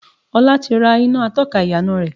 Ọlá ti rà iná atọ́ka ìyànà rẹ.